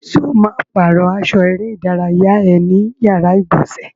Ṣo ma pàrọ́ aṣọ eré ìdárayá ẹ ní yàrá ìgbọ̀nsẹ̀?